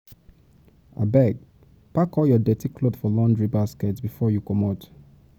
Abeg, pack all your dirty cloth for laundry basket before you comot.